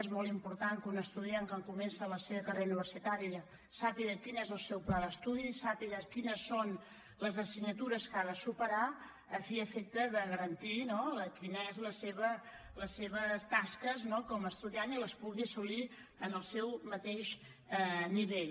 és molt important que un estudiant quan comença la seva carrera universitària sàpiga quin és el seu pla d’estudi sàpiga quines són les assignatures que ha de superar a fi i efecte de garantir quines són les seves tasques com a estudiant i les pugui assolir en el seu mateix nivell